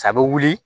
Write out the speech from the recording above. A bɛ wuli